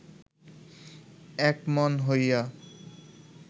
একমন হইয়া